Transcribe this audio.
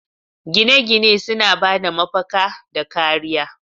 Gine-gine suna ba da mafaka da kariya